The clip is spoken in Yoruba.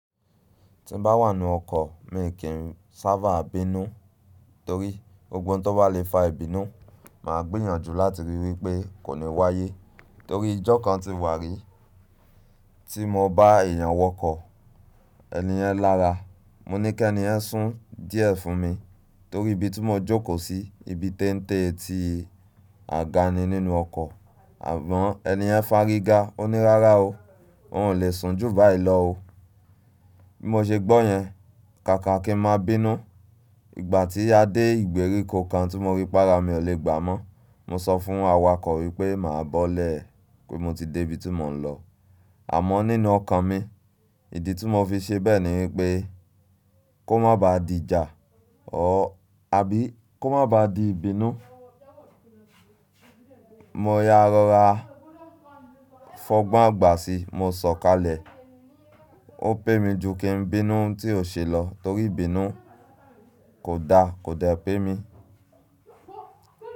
Tí n bá wà nínú ọkọ̀ mi kì í sábà bínú torí gbogbo n tó bá lè fa ìbínú máa gbìyànjú láti ríi wípé kò ní wáyé. Torí ìjọ kan ti wà rí tí mo bá èèyàn wọkọ̀, ẹni yẹn lára, mo ní kí ẹni ẹ̀ sún díẹ̀ fún mi torí ibi tí mo jókòó sí, ibi teńte eti àga ni nínú ọkọ̀ àmọ́ ẹni yẹn fàríga. Ó ní rárá o, oun ò lè sùn jù báyìí lọ o. Bí mo ṣe gbọ́ yẹn, kàkà kí ń máa bínú. Ìgbà tí a dé ìgbèríko kan tí mo rí pára mi ò lè gbà mọ́, mo sọ fún awakọ̀ wípé màá bọ́lẹ̀ pé mo ti dé ibi tí mò ń lọ. Àmọ́ nínú ọkàn mi, ìdí tí mo fi ṣe bẹ́ẹ̀ ni wípé kó má ba di ìjà àbí kó má ba di ìbínú. Mo ya rọra fọ́gbọ́n agbà sí i, mo sọ̀kalẹ̀. Ó pè mi ju kí n bínú tí ò ṣe lọ torí ìbínú kò da, kò de pẹ́ mi.